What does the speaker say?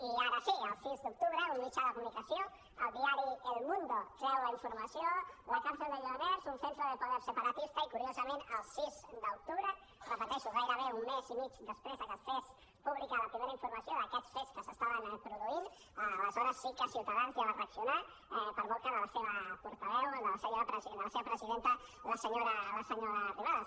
i ara sí el sis d’octubre un mitjà de comunicació el diari el mundo treu la informació la cárcel de lledoners un centro de poder separatista i curiosament el sis d’octubre ho repeteixo gairebé un mes i mig després de que es fes pública la primera informació d’aquests fets que s’estaven produint aleshores sí que ciutadans ja va reaccionar per boca de la seva portaveu de la seva presidenta la senyora arrimadas